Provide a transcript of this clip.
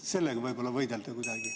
Sellega tuleks võidelda kuidagi.